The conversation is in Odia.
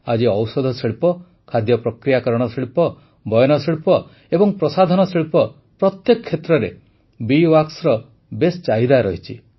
ଆଜି ଔଷଧ ଶିଳ୍ପ ଖାଦ୍ୟ ପ୍ରକ୍ରିୟାକରଣ ଶିଳ୍ପ ବୟନଶିଳ୍ପ ଏବଂ ପ୍ରସାଧନ ଶିଳ୍ପ ପ୍ରତ୍ୟେକ କ୍ଷେତ୍ର୍ରରେ ବୀ ୱାକ୍ସ ର ବେଶ୍ ଚାହିଦା ରହିଛି